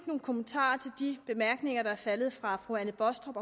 nogle kommentarer til de bemærkninger der er faldet fra fru anne baastrup